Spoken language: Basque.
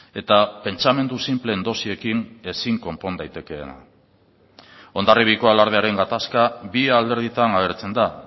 eta pentsamendu sinpleen dosiekin ezin konpon daitekeena hondarribiako alardearen gatazka bi alderditan agertzen da